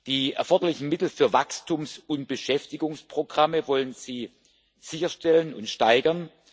Die erforderlichen Mittel für Wachstums und Beschäftigungsprogramme wollen Sie sicherstellen und steigern.